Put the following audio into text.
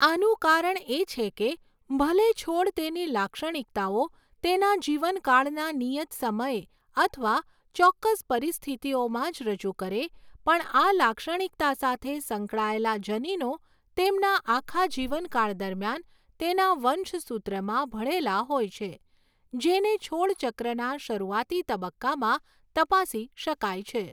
આનું કારણ એ છે કે ભલે છોડ તેની લાક્ષણિકતાઓ તેના જીવનકાળના નિયત સમયે અથવા ચોક્કસ પરિસ્થિતિઓમાં જ રજૂ કરે પણ આ લાક્ષણિકતા સાથે સંકળાયેલા જનીનો તેમના આખા જીવનકાળ દરમિયાન તેના વંશસૂત્રમાં ભળેલા હોય છે, જેને છોડ ચક્રના શરૂઆતી તબક્કામાં તપાસી શકાય છે.